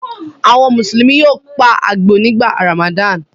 Àwọn Mùsùlùmí yóò pa àgbò nígbà Ramadan.